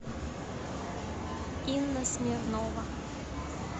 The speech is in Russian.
инна смирнова